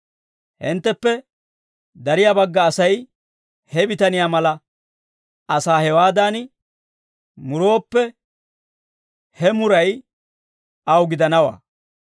Hintteppe dariyaa bagga Asay he bitaniyaa mala asaa hewaadan murooppe, he muray aw gidanawaa.